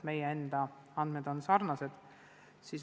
Meie enda andmed on sarnased.